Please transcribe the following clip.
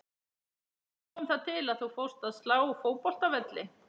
Hvernig kom það til að þú fórst að slá fótboltavelli?